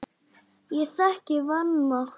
Ég þekki vanmátt þinn.